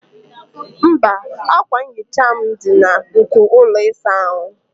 mba, akwa nhicha m dị na nko ụlọ ịsa ahụ